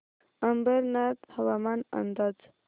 अंबरनाथ हवामान अंदाज